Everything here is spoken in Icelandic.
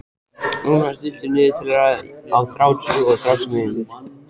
Luna, stilltu niðurteljara á þrjátíu og þrjár mínútur.